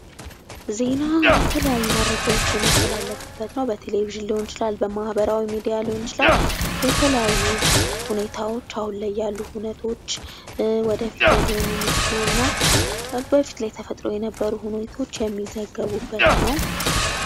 ዜና የተለያዩ መረጃዎች የሚተላለፍቡት ነው ። በቴሌቭዥን ሊሆን ይችላል ፣ በማህበራዊ ሚዲያ ሊሆን ይችላል ። የተለያዩ ሁኔታዎች አሁን ላይ ያሉ ሁኔታዎች ፣ ወደፊት ላይ ሊሆኑ የሚችሉ እና በፊት ላይ ተፈጥረው የነበሩ ሁኔታዎች የሚዘገቡበት ነው ።